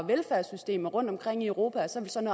velfærdssystemerne rundtomkring i europa og så vil sådan